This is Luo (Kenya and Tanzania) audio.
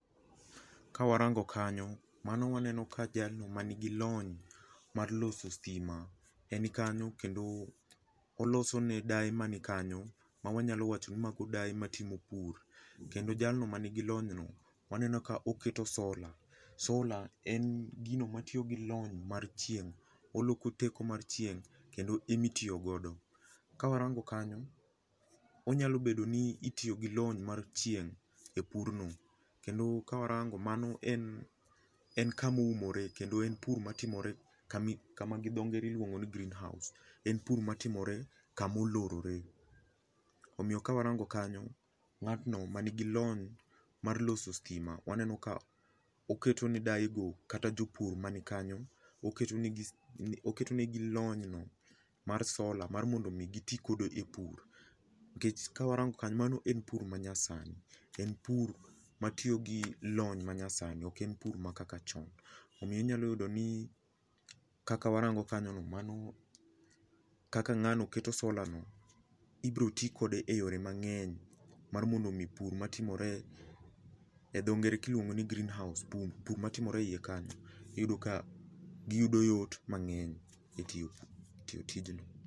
Ka warango kanyo mano waneno ka jalno manigi lony mar loso stima en kanyo kendo oloso ne dae man kanyo ma wanyalo wachoni mago daye matimo pur. kendo jalno manigi lony no wanenoka keto solar. Solar en gino matiyo gi lony mar chieng, oloko teko mar chieng kendo ema itiyo godo. Ka warango kanyo onyalo bedo ni itiyo gi lony mar chieng e purno kendo ka warango mano en kama oumore kendo en pur matimore kama gidonge iluongo ni greenhouse, en pur matimore kama olorore. Omiyo ka warango kanyo, ngatno manigi lony mar loso stima waneno ka oketo ne daye go kata jopur mani kanyo, oketo negi lony no mar solar mar mondo giti godo e pur nikech ka warango kanyo mano en pur manyasani, en pur matiyo gi lony manyasani oken pur ma kaka chon. Omiyo inyalo yudo ni kaka warango kanyono, mano kaka ngano keto solar no, ibiro tii kode e yore mangeny mar mondo mi ni pur matimore e dho ngere kiluongo ni greenhouse, pur matimore eiye kanyo iyudo ka giyudo yot mangeny e tiyo, tiyo tijno